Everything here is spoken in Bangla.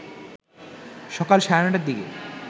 সকাল সাড়ে ৯টার দিকে